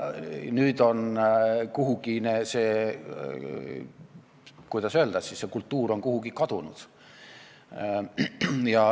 Nüüd on see, kuidas öelda, kultuur kuhugi kadunud.